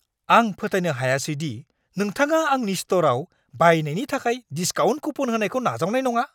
आं फोथायनो हायासै दि नोंथाङा आंनि स्ट'राव बायनायनि थाखाय डिस्काउन्ट कुपन होनायखौ नाजावनाय नङा।